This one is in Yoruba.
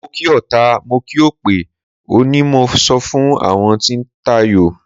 Mo kí ọta, mo kí òpè o, ni mo sọ fún àwọn tí ń tayò.